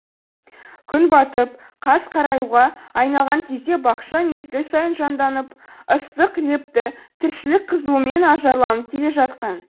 күн батып қас қараюға айналған кезде бақша мезгіл сайын жанданып ыстық лепті тіршілік қызуымен ажарланып келе жатқан